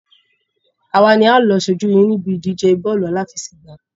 Àwa ni a ó lọ ṣojú yín ní ibi ìdíje bọ́ọ̀lù àláfẹsẹ̀gbá.